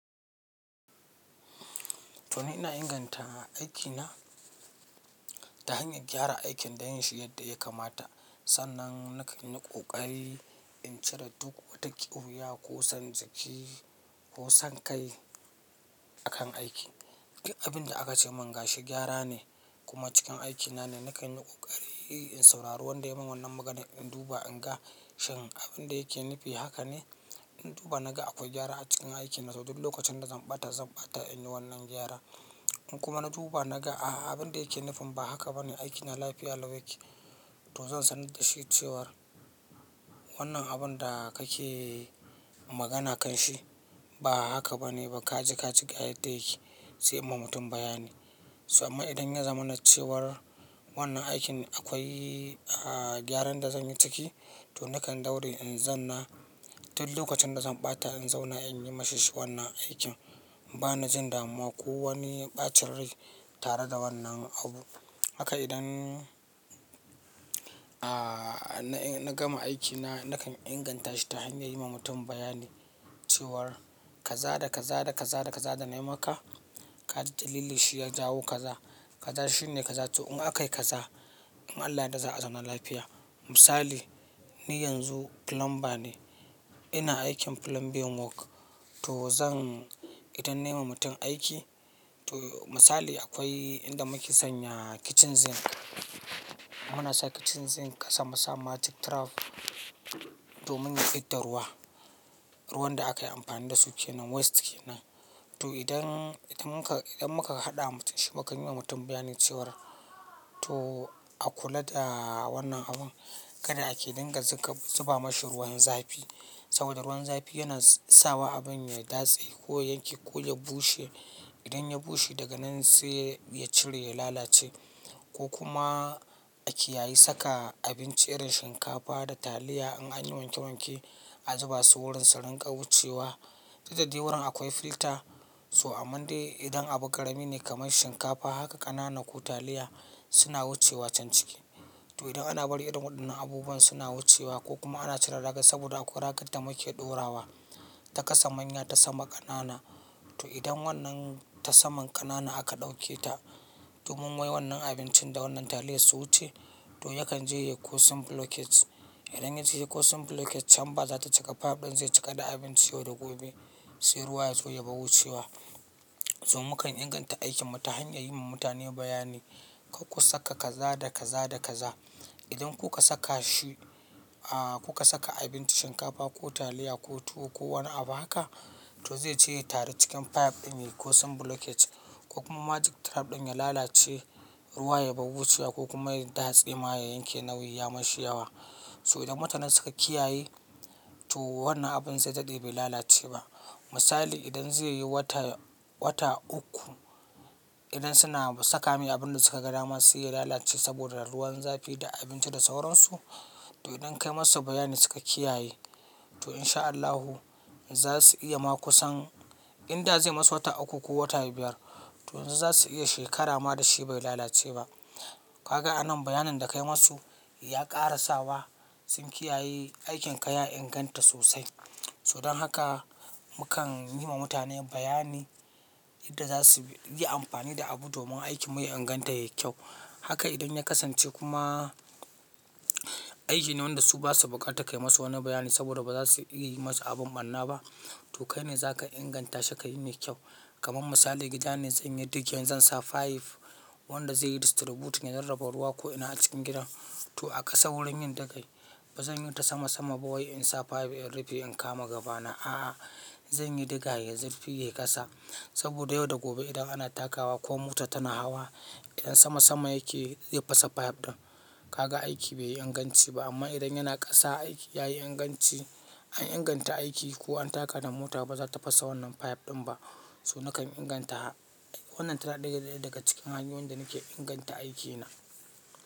To ni ina inganta aikina ta hanyar gyara aikin da yin shi yadda ya kamata. Sannan nakan yi ƙoƙari in cire duk wata kiwuya ko son jiki ko sankai a kan aiki. Abin da aka ce min gashi gyara ne kuma cikin aikina ne nakan yi ƙoƙari in saurari wanda ya yi min wannan maganar in duba in ga shin abin da yake nufi haka ne? In duba na ga akwai gyara a cikin aikin, to duk lokacin da zan ɓata zan ɓata in yi wannan gyara. In kuma na duba na ga a'a abin da yake nufin ba haka ba ne, aikina lafiya lau yake to zan sanar da shi cewar wannan abun da kake magana kanshi ba haka ba ne ba ka ji ka ji ga yadda yake, sai in ma mutum bayani. To amman idan ya zama na cewar wannan aikin akwai, ah, gyaran da zan yi ciki to nakan daure in zan na, duk lokacin da zan ɓata in zauna in yi ma shi wannan aikin. Bana jin damuwa ko wani ɓacin rai tare da wannan abu. Haka idan, ah, na gama aikina nakan inganta shi ta hanyar yi ma mutum bayani cewar kaza da kaza da kaza da kaza da na yi maka ka ji dalili shi ya jawo kaza. Kaza shi ne kaza. To in aka yi kaza in Allah ya yarda za a zauna lafiya. Misali ni yanzu plumber ne, ina aikin plumbing work to zan, idan nayi wa mutum aiki to misali akwai inda muke sanya kitchen sink. Muna sa kitchen sink kasan mu sa magic trap domin fidda ruwa. Ruwan da aka yi amfani da su kenan waste kenan. To idan, idan muka, idan muka haɗa wa mutum shi, mu kan yi wa mutum bayani cewar to a kula da wannan abun. Kada a ƙe dinga zuba mashi ruwan zafi saboda ruwan zafi yana sawa abun ya datse ko yanke ko ya bushe. Idan ya bushe daga nan sai ya cire ya lalace. Ko kuma a kiyayi saka abinci irin shinkafa da taliya in an yi wanke wanke a zuba su wurin su dinga wucewa. Dikdadai wurin akwai filter to aman dai idan abu ƙarami ne kamar shinkafa haka ƙanana ko taliya suna wucewa can ciki. To idan ana barin irin waɗannan abubuwan suna wucewa ko kuma ana cire ragar saboda akwai ragar da muke ɗora wa ta kasa manya ta sama ƙanana. To idan wannan tasaman ƙananan aka ɗauke ta domin wai wannan abincin da wannan taliyar su wuce, to yakan je ya yi kosin blockage. Idan ya je ya yi kosin blockage chamber za ta cika pipe ɗin zai cika da abinci yau da gobe sai ruwa ya zo yabar wucewa. To mukan inganta aikin mu ta hanyar yi ma mutane bayani. Ku saka kaza da kaza da kaza. Idan kuka saka shi, ah, kuka saka abinci shinkafa ko taliya ko tuwo ko wani abu haka to zai je ya taru cikin pipe ɗin ya yi kosin blockage ko kuma magic trap ɗin ya lalace ruwa yabar wucewa ko kuma ya yi datse ma ya yanke nauyi ya mashi yawa. So idan mutane suka kiyaye to wannan abun zai dade bai lalace ba. Misali idan zai yi wata, wata uku idan suna saka mai abin da suka ga dama sai ya lalace saboda ruwan zafi da abinci da sauran su, to idan ka yi ma su bayani suka kiyaye to in sha Allahu za su iya ma kusan inda zai yi masu wata uku ko wata biyar to za su iya shekara ma da shi bai lalace ba. Kaga anan bayanin da ka yi ma su ya ƙara sawa sun kiyaye aikin ka ya inganta sosai. So don haka mukan yi ma mutane bayani yadda za su yi amfani da abu domin aikin mu ya inganta yayi kyau. Haka idan ya kasance kuma aiki ne wanda su ba su buƙata ka yi ma su wani bayani saboda ba za su iya yi masa abin barna ba to kai ne za ka inganta shi ka yi mai kyau. Kaman misali gida ne zan yi digging zan sa pipe wanda zai yi distributing ya rarraba ruwa ko'ina a cikin gidan to a ƙasa wurin yin take ba zan yi ta sama sama ba wai in sa pipe in rufe in kama gabana a'a. Zan yi diga yayi zufi yayi fm ƙasa saboda yau da gobe idan ana takawa ko mota tana hawa idan sama sama yake za fasa pipe ɗin. Kaga aiki bai yi inganci ba amma idan yana ƙasa aiki ya yi inganci. An inganta aiki ko an taka da mota ba za ta fasa wannan pipe ɗin ba. So nakan inganta wannan tana ɗaya daga cikin hanyoyin da nake inganta aikina.